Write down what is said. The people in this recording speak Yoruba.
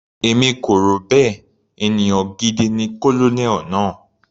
Èmi kò rò bẹ́ẹ̀, ènìyàn gidi ni Colonel náà.